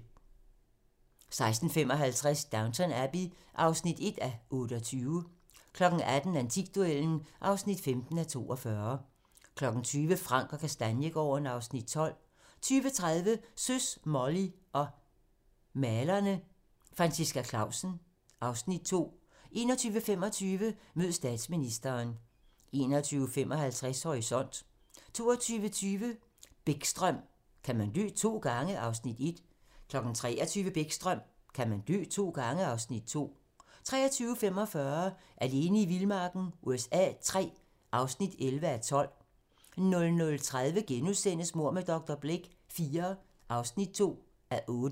16:55: Downton Abbey (1:28) 18:00: Antikduellen (15:42) 20:00: Frank & Kastaniegaarden (Afs. 12) 20:30: Søs, Molly og malerne - Franciska Clausen (Afs. 2) 21:25: Mød statsministeren 21:55: Horisont 22:20: Bäckström: Kan man dø to gange? (Afs. 1) 23:00: Bäckström: Kan man dø to gange? (Afs. 2) 23:45: Alene i vildmarken USA III (11:12) 00:30: Mord med dr. Blake IV (2:8)*